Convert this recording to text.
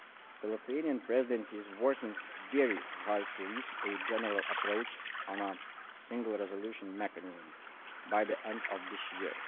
The Lithuanian Presidency is working very hard to reach a general approach on a single resolution mechanism by the end of this